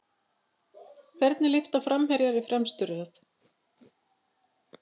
Hvernig lyfta framherjar í fremstu röð?